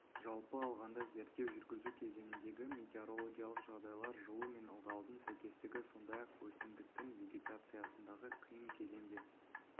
жалпы алғанда зерттеу жүргізу кезіндегі метеорологиялық жағдайлар жылу мен ылғалдың сәйкестігі сондай-ақ өсімдіктің вегетациясындағы қиын кезеңде